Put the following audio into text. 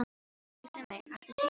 Villimey, áttu tyggjó?